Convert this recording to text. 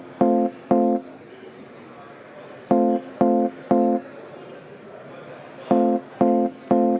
Aitäh!